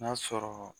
N'a sɔrɔ